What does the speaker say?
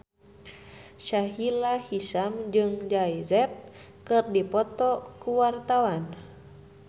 Sahila Hisyam jeung Jay Z keur dipoto ku wartawan